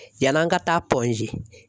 Yann'an ka taa G.